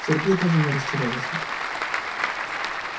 сергей даже не растерялся